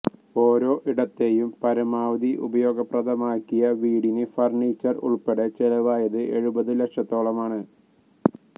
ഓരോ ഇടത്തെയും പരമാവധി ഉപയോഗപ്രദമാക്കിയ വീടിന് ഫര്ണിച്ചര് ഉള്പ്പെടെ ചെലവായത് എഴുപതു ലക്ഷത്തോളമാണ്